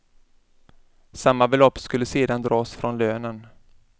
Samma belopp skulle sedan dras från lönen.